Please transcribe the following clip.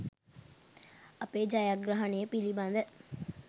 අපේ ජයග්‍රහණය පිළිබඳ